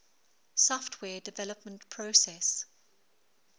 software development process